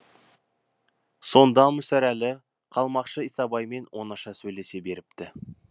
сонда мүсірәлі қалмақшы исабаймен оңаша сөйлесе беріпті